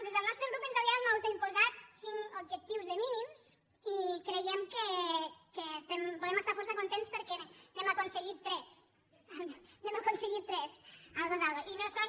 des del nostre grup ens havíem autoimposat cinc ob·jectius de mínims i creiem que podem estar força contents perquè n’hem aconseguit tres n’hem acon·seguit tres algo es algo